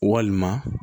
Walima